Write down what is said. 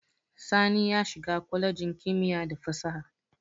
Sani ya shiga kwalejin kimiyya da fasaha.